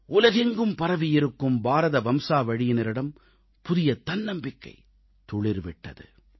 உலகெங்கும் பரவியிருக்கும் பாரத வம்சாவழியினரிடம் புதிய தன்னம்பிக்கை துளிர் விட்டது